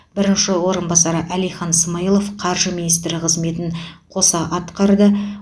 бірінші орынбасары әлихан смайылов қаржы министрі қызметін қоса атқарады